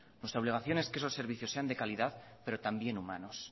nuestra obligación es que esos servicios sean de calidad pero también humanos